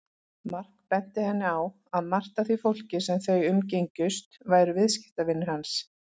Mark benti henni á að margt af því fólki sem þau umgengjust væru viðskiptavinir hans.